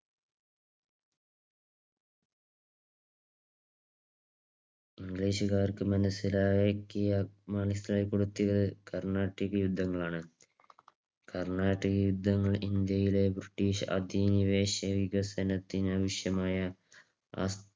ഇംഗ്ലീഷുകാർക്ക് മനസ്സിലാക്കി കൊടുത്തത് കർണാട്ടിക് യുദ്ധങ്ങളാണ്. കർണാട്ടിക് യുദ്ധങ്ങൾ ഇന്ത്യയിലെ ബ്രിട്ടീഷ് അധിനിവേശ വികസനത്തിന് വിഷമയ